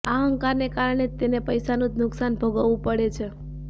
આ અહંકારને કારણે તેને પૈસાનું જ નુકસાન ભોગવવું પડે છે